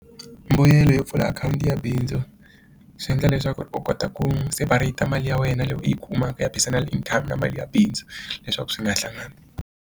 Mbuyelo yo pfula akhawunti ya bindzu swi endla leswaku u kota ku separate mali ya wena loko u yi kumaka ya personal inthanete na mali ya bindzu leswaku swi nga hlangani.